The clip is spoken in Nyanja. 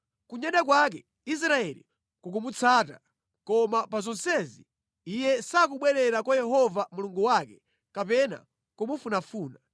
Kunyada kwake Israeli kukumutsutsa, koma pa zonsezi iye sakubwerera kwa Yehova Mulungu wake kapena kumufunafuna.